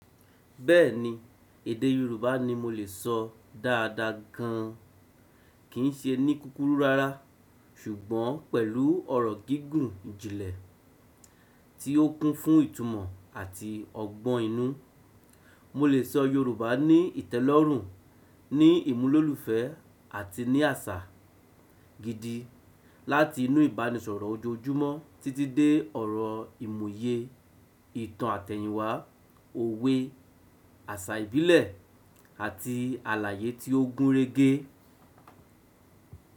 Bẹ́ẹ̀ni, èdè Yorùbá ni mo lè sọ dáadáa gan an. Kì í ṣe ní kúkúrú rárá, ṣùgbọ́n pẹ̀lú ọ̀rọ̀ gígùn ìjìnlẹ̀ tí ó kún fún ìtumọ̀ àti ọgbọ́n inú. Mo lè sọ Yorùbá ní ìtẹ́lọ́rùn, ní ìmúlòlùfẹ́ àti ní àṣà gidi. Láti inú ìbánisọ̀rọ̀ ojoojúmọ́ títí dé ọ̀rọ̀ ìmúye, ìtàn àtẹ̀yìnwá, òwe, àṣà ìbílẹ̀ àti àlàyé tí ó gúnrégé.